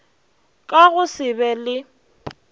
ka go se be le